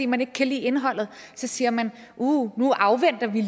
man ikke kan lide indholdet siger man uh nu afventer vi